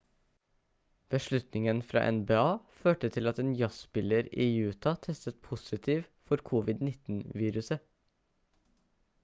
beslutningen fra nba førte til at en jazzspiller i utah testet positivt for covid-19-viruset